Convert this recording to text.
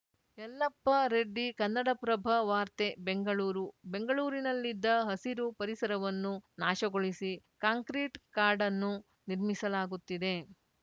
ಯಲ್ಲಪ್ಪರೆಡ್ಡಿ ಕನ್ನಡಪ್ರಭ ವಾರ್ತೆ ಬೆಂಗಳೂರು ಬೆಂಗಳೂರಿನಲ್ಲಿದ್ದ ಹಸಿರು ಪರಿಸರವನ್ನು ನಾಶಗೊಳಿಸಿ ಕಾಂಕ್ರಿಟ್‌ ಕಾಡನ್ನು ನಿರ್ಮಿಸಲಾಗುತ್ತಿದೆ